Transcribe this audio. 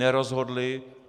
Nerozhodli!